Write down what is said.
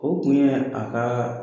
O kun ye a ka